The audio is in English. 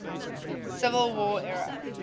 civil war era